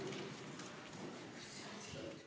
Istungi lõpp kell 11.53.